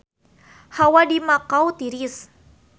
Hawa di Makau tiris